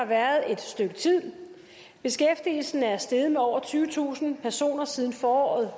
været et stykke tid beskæftigelsen er steget med over tyvetusind personer siden foråret